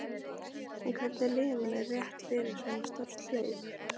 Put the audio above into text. En hvernig líður manni rétt fyrir svo stórt hlaup?